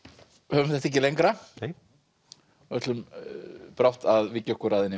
höfum þetta ekki lengra ætlum brátt að víkja okkur að henni